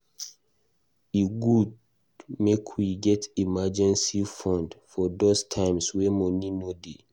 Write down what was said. E good make we get emergency fund for those times wey money no dey.